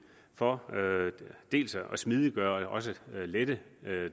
for at smidiggøre og også lette